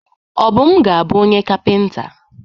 Obum ga-abu onye kapịnta.